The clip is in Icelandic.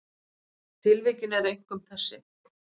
Tilvikin eru einkum þessi